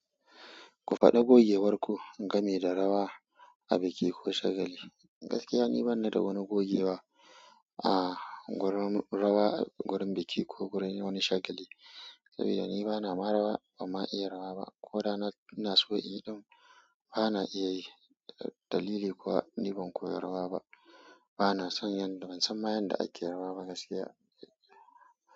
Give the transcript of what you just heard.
Ku faɗa gogewar ku game da rawa a biki ko shagali. Gaskiya, ni bani da wani gogewa a gurin rawa, gurin biki ko gurin wani shagali. Saboda ni ba na ma rawa ba, banma iya rawa ba. Ko da inaso yi ɗin, ba na iya yi, dalili kuwa ni ban koga rawa ba. Ba na son yadda ban san ma yanda ake rawa ba gaskiya.